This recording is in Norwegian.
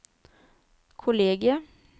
kollegiet